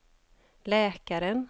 läkaren